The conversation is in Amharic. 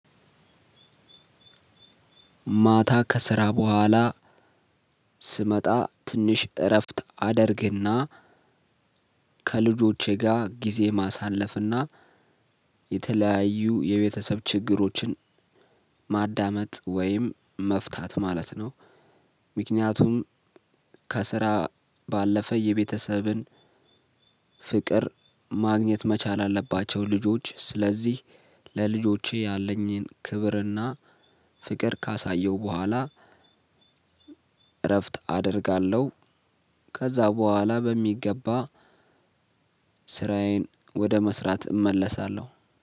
ማታ ከስራ በኋላ ስመጣ ትንሽ እረፍት አደርግና ከልጆቼ ጋር ጊዜ ማሳለፍና የተለያዩ የቤተሰብ ችግሮችን ማዳመጥ ወይም መፍታት ማለት ነው። ምክነያቱም ከስራ ባለፈ የቤተሰብን ፍቅር ማግኘት መቻል አለባቸው ልጆች ስለዚህ ለልጆቼ ያለኝን ክብርና ፍቅር ካሳየሁ በኋላ። እረፍት አደርጋለሁ። ከዛ በኋላ በሚገባ ስራዬን ወደ መስራት እመለሳለሁ